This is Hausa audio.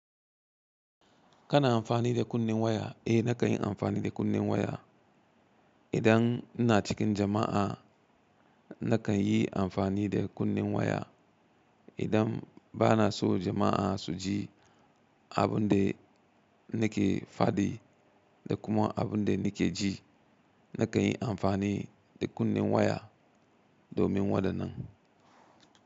Kana amfani da kunnen waya? Eh nakan yi amfani da kunnen waya. Idan ina cikin jama'a, nakan yi amfani da kunnen waya. Idan bana so jama'a su ji abun da nake faɗi da kuma abun da nake ji, nakan yi amfani da kunnen waya domin wadannan.